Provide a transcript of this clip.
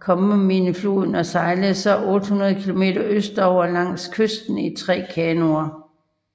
Copperminefloden og sejlede så 800 kilometer østover langs kysten i tre kanoer